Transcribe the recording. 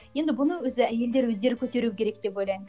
енді бұны өзі әйелдер өздері көтеру керек деп ойлаймын